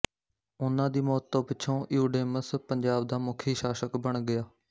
ਉਹਨਾਂ ਦੀ ਮੌਤ ਤੋਂ ਪਿੱਛੋਂ ਇਊਡੇਮਸ ਪੰਜਾਬ ਦਾ ਮੁਖੀ ਸ਼ਾਸਕ ਬਣ ਗਿਆ